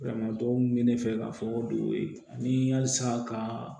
Banamatɔ min bɛ ne fɛ ka fɔ ko halisa ka